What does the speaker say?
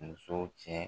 Muso cɛ